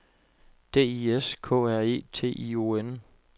D I S K R E T I O N